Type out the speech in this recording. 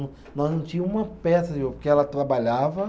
Nós não tinha uma peça, porque ela trabalhava.